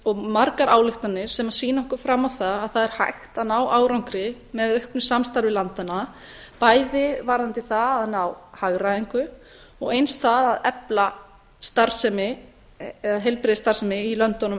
og margar ályktanir sem sýna okkur fram á að það er hægt að ná árangri með auknu samstarfi landanna bæði varðandi það að ná hagræðingu og eins það að efla heilbrigðisstarfsemi í löndunum